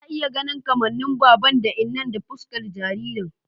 Ina iya ganin kamannin baban da innan a fuskar jaririn